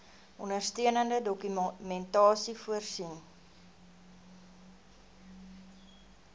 ondersteunende dokumentasie voorsien